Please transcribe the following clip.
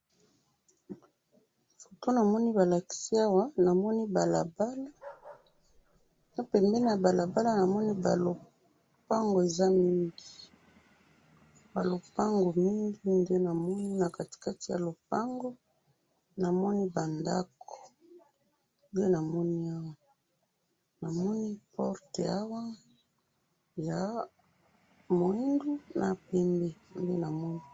Foto namoni balakisi awa, namoni balabala, na pembeni ya balabala namoni ba lopango eza mingi, ba lopango mingi nde namoni, na katikati ya lopango namoni ba ndako, nde namoni awa, namoni porte awa, ya mwindu na pembe.